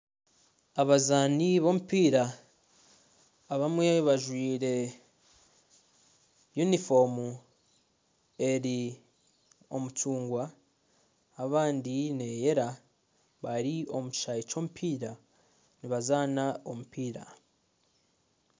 Abazaani b'omupiira abamwe bajwaire yunifoomu eri omu rangi y'omucungwa abandi neeyera bari omu kishaayi ky'omupiira nibazaana omupiira.